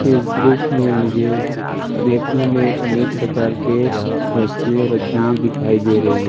इस दृश्य में मुझे रेखो में अनेक प्रकार के वस्तुए रखी हुई दिखाई दे रही है।